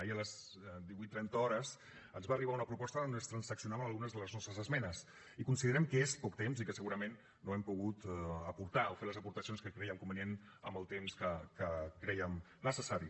ahir a les divuit trenta hores ens va arribar una proposta on es transaccionaven algunes de les nostres esmenes i considerem que és poc temps i que segurament no hem pogut aportar o fer les aportacions que crèiem convenients amb el temps que crèiem necessari